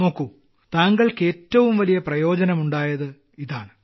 നോക്കൂ താങ്കൾക്ക് ഏറ്റവും വലിയ പ്രയോജനമുണ്ടായത് ഇതാണ്